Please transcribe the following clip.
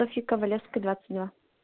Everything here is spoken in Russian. софьи ковалевской двадцать два